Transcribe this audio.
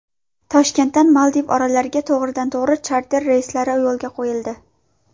Toshkentdan Maldiv orollariga to‘g‘ridan to‘g‘ri charter reyslari yo‘lga qo‘yildi.